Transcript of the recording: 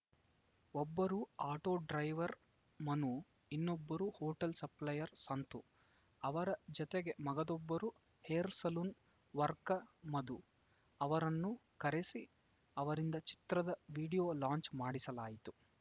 ಒಬ್ಬರು auto driver Manu ಇನ್ನೊಬ್ಬರು hotel supplier Santu ಅವರ ಜತೆಗೆ ಮಗದೊಬ್ಬರು ಹೇರ್‌ ಸೆಲೂನ್‌ ವರ್ಕರ್‌ ಮಧು ಅವರನ್ನು ಕರೆಸಿ ಅವರಿಂದ ಚಿತ್ರದ ವಿಡಿಯೋ ಲಾಂಚ್‌ ಮಾಡಿಸಲಾಯಿತು